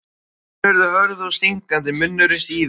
Augun urðu hörð og stingandi, munnurinn stífur.